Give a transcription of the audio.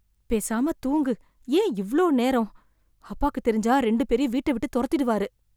பேசாம தூங்கு ஏன் இவ்வளோ நேரம், அப்பாக்கு தெரிஞ்சா இரண்டு பேரையும் வீட்ட விட்டு தொரத்திருவாரு